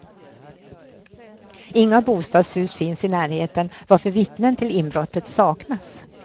Inga bostadshus finns i närheten varför vittnen till inbrottet saknas.